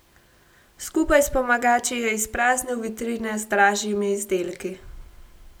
Skupaj s pomagači je izpraznil vitrine z dražjimi izdelki.